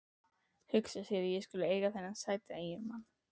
Hugsa sér að ég skuli eiga þennan sæta eiginmann.